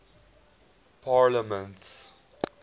parliaments